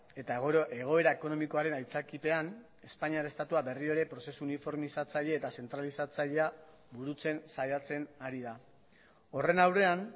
eta egoera ekonomikoaren aitzakiapean espainiar estatua berriro ere prozesu uniformizatzaile eta zentralizatzailea burutzen saiatzen ari da horren aurrean